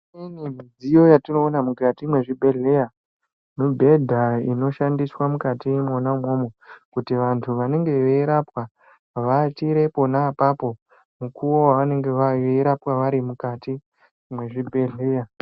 Pane midziyo yetinoona mukati mwezvibhedhlera mibhedha inoshandiswa mona umomo kuti vanthu vanenge veirapwa vawatire pona apapo mukuwo wavanenge veirapwa vari mukati mwezvibhedhkeya.